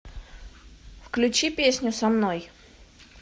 включи песню со мной